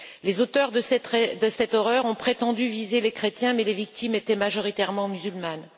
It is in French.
Les auteurs de cette horreur ont prétendu viser les chrétiens, mais les victimes étaient majoritairement musulmanes.